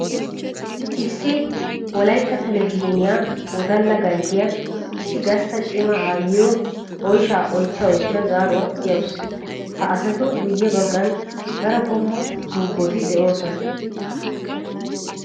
Issi wolaytta televizhinniya wodalla ganjjiya issi gastta cima aayiyo oyshsha oychcha oychcha zaaruwa siyawusu. Ha asattu guye bagan daro qommo tubbotti de'osona.